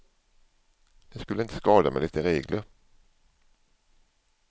Det skulle inte skada med lite regler.